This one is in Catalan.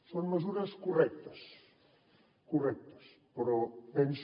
són mesures correctes correctes però penso